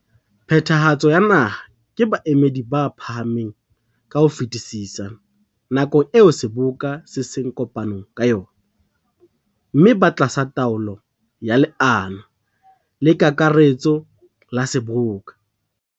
Phathahatso ya Naha ke baemedi ba phahameng ka ho fetisisa nakong eo Seboka se seng kopanong ka yona, mme ba tlasa taolo ya leano la kakaretso la Seboka.